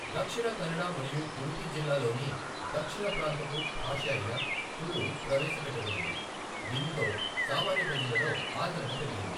దక్షిణ కన్నడ మరియు ఉడిపి జిల్లాలలోని దక్షిణ ప్రాంతపు భాష అయిన తుళు ప్రవేశపెట్టబడింది, దీనితో సామాన్య ప్రజలలో ఆదరణ పెరిగింది.